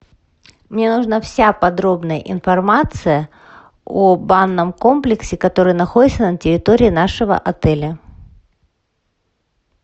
мне нужна вся подробная информация о банном комплексе который находится на территории нашего отеля